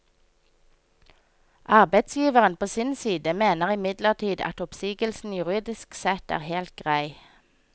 Arbeidsgiveren på sin side mener imidlertid at oppsigelsen juridisk sett er helt grei.